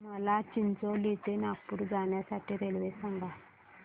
मला चिचोली ते नागपूर जाण्या साठी रेल्वे सांगा